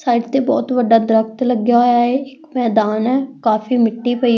side ਤੇ ਬਹੁਤ ਵੱਡਾ ਦਰਖਤ ਲੱਗਿਆ ਹੋਇਆ ਏ ਇੱਕ ਮੈਦਾਨ ਐ ਕਾਫੀ ਮਿੱਟੀ ਪਈ --